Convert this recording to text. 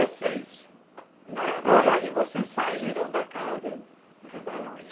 Dezesseis, né. É, e aí vocês saíram da casa do barão.